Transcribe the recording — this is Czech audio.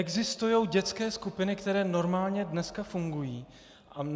Existují dětské skupiny, které normálně dneska fungují.